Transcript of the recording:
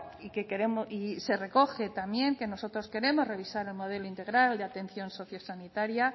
y se recoge también que nosotros queremos revisar el modelo integral de atención sociosanitaria